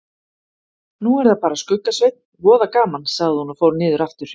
Nú er það bara Skugga-Sveinn, voða gaman sagði hún og fór niður aftur.